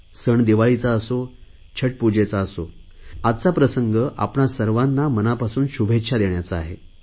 सण दिवाळीचा असो छठपूजेचा असो आजचा प्रसंग आपणा सर्वांना मनापासून शुभेच्छा देण्याचा आहे